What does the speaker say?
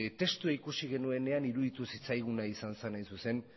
testua ikusi genuenean iruditu zitzaiguna izan zen hain zuzen